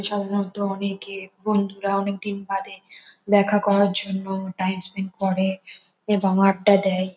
সাধারণত অনেকে বন্ধুরা অনেকদিন বাদে দেখা করার জন্য টাইমস্পেন্ট করে এবং আড্ডা দেয় ।